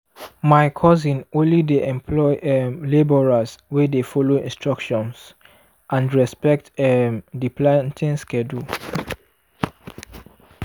my cousin only dey employ um labourers wey dey follow instructions and respect um di planting schedule.